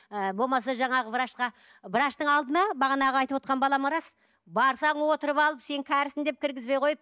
ы болмаса жаңағы врачқа врачтың алдына бағанағы айтып отырған балама рас барсақ отырып алып сен кәрісің деп кіргізбей қойып